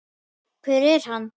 hver er hann?